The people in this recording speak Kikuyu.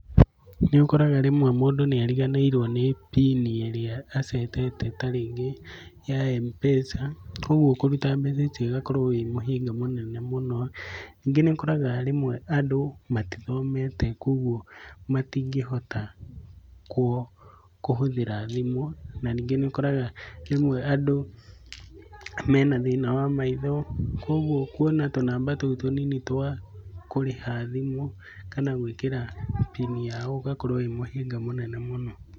Nĩũkoraga rĩmwe mũndũ nĩariganĩirwo nĩ pin ĩrĩa acetete tarĩngĩ ya M-pesa ũgwo kũruta mbeca icio ũgakorwo wĩhinya mũnene mũno. Rĩngĩ nĩũkoraga rĩmwe andũ matithomete kuogwo matingĩhota kũhũthĩra thimũ. Na nyingĩ nĩũkoraga rĩmwe andũ mena thĩna wa maitho. Kuogwo kuona tũnamba tũu tũnini twakũrĩha thimũ kana gwĩkĩra pin yao, ũgakorwo wĩ mũhĩnga mũnene mũno.